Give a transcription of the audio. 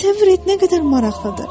Təsəvvür et nə qədər maraqlıdır!